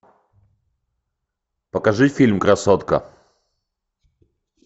покажи фильм красотка